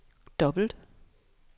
dobbelt